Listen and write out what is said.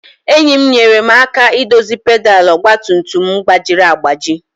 Enyi m nyeere m aka idozi pedal ọgba tum tum m gbajiri agbaji.